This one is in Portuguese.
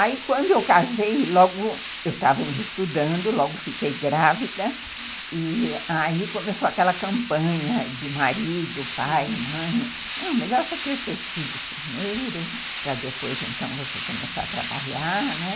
Aí quando eu casei, logo eu estava ainda estudando, logo fiquei grávida, e aí começou aquela campanha de marido, pai, mãe, não, melhor você ter seus filhos primeiro, para depois então você começar a trabalhar, né?